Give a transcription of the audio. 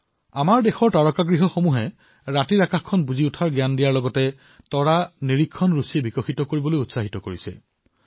আমাৰ দেশৰ তাৰকাগৃহসমূহে নিশাৰ আকাশক বুজাৰ সৈতে তৰা নিৰীক্ষণক চখ হিচাপেও বিকশিত কৰাৰ বাবে উদগনি জনায়